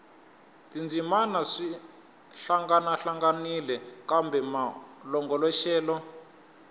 tindzimana swi hlangahlanganile kambe malongoloxelo